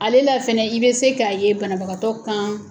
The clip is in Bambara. Ale la fɛnɛ i bɛ se k'a ye banabagatɔ kan.